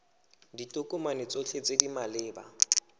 ditokomane tsotlhe tse di maleba